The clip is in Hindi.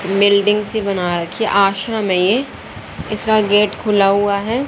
बिल्डिंग सी बना रखी है आश्रम है ये इसका गेट खुला हुआ है।